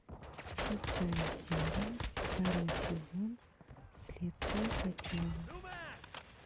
шестая серия второй сезон следствие по телу